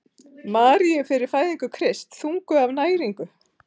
Maríu fyrir fæðingu Krists: þunguð af næringu.